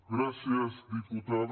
gràcies diputada